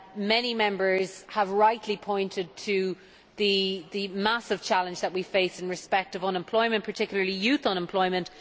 Many Members have rightly pointed to the massive challenge that we face in respect of unemployment, particularly youth unemployment.